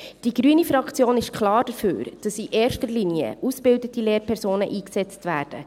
Die grüne Fraktion ist klar dafür, dass in erster Linie ausgebildete Lehrpersonen eingesetzt werden.